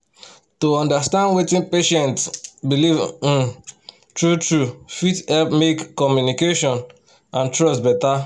to understand wetin patient um believe um true-true fit help make um communication and trust better.